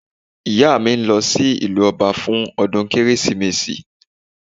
Ìyá mi ń lọ sí ìlú ọba fún ọdún kérésìmesì